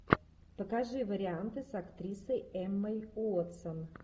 покажи варианты с актрисой эммой уотсон